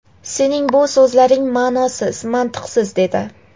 sening bu so‘zlaring ma’nosiz, mantiqsiz, — dedi.